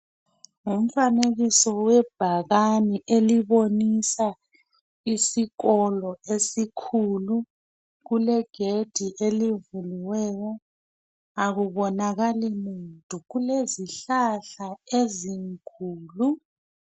Umfanekiso webhakani elobonisa isikolo esikhulu. Kulegedi elivuliweyo, akubonakali muntu. Kulezihlahla ezinkulu